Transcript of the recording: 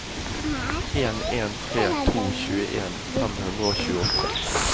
en en tre to tjueen fem hundre og tjueåtte